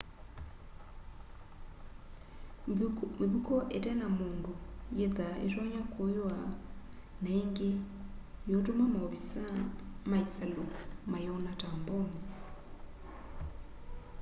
mivuko ite na mundu yithwaa itonya kuywa na ingi yiutuma maovisaa ma isalu mayona ta mbomu